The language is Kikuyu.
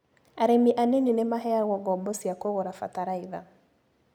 Arĩmi anini nĩmaheagwo ngombo cia kũgũra bataraitha.